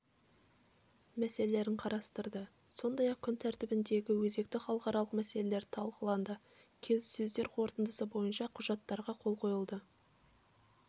мәселелерін қарастырды сондай-ақ күн тәртібіндегі өзекті халықаралық мәселелер талқыланды келіссөздер қорытындысы бойынша құжаттарға қол қойылды